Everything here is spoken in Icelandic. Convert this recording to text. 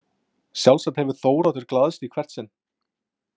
Sjálfsagt hefur Þóroddur glaðst í hvert sinn.